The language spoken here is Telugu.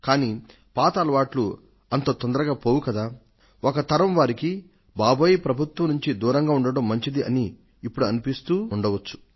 కానీ పాత అలవాట్లు అంత తొందరగా పోవు కదా ఒక తరం వారికి బాబోయ్ ప్రభుత్వం నుండి దూరంగా ఉండడం మంచిది అని ఇప్పుడు అనిపిస్తొండొచ్చు